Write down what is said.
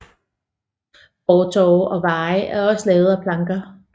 Fortove og veje var også lavet af planker